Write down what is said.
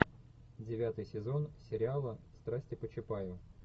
девятый сезон сериала страсти по чапаю